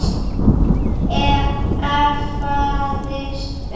efaðist um